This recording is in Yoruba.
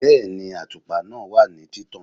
Bẹ́ẹ̀ni, àtùpà náà wà ní títàn